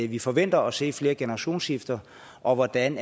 vi forventer at se flere generationsskifter og hvordan